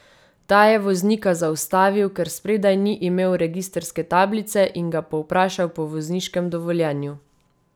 Ta je voznika zaustavil, ker spredaj ni imel registrske tablice, in ga povprašal po vozniškem dovoljenju.